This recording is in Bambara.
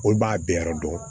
Olu b'a bɛɛ yɔrɔ dɔn